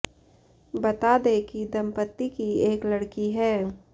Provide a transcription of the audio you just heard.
बता दें कि दंपति की एक लड़की है